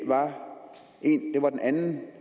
var den anden